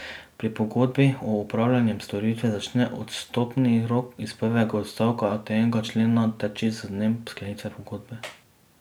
Pri pogodbi o opravljanju storitev začne odstopni rok iz prvega odstavka tega člena teči z dnem sklenitve pogodbe.